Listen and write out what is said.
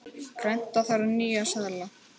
Prenta þarf nýja seðla.